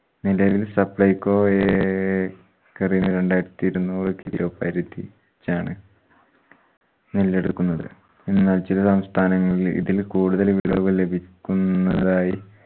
നിലവിൽ supplyco ഏക്കറിന് രണ്ടായിരത്തി ഇരുന്നൂറ് kilo പരിധി ചാണ് നെല്ലെടുക്കുന്നത്. സംസ്ഥാനങ്ങളിൽ ഇതിൽ കൂടുതൽ വിളവ് ലഭിക്കുന്നതായി